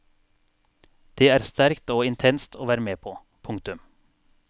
Det er sterkt og intenst å være med på. punktum